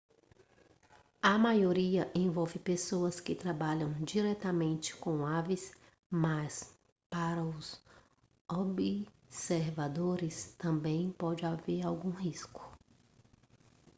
a maioria envolve pessoas que trabalham diretamente com aves mas para os observadores também pode haver algum risco